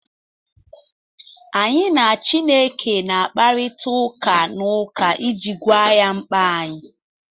Anyị na Chineke na-akparịta ụka n’ụka iji gwa ya mkpa anyị